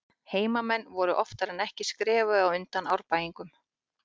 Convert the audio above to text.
Heimamenn voru oftar en ekki skrefi á undan Árbæingum.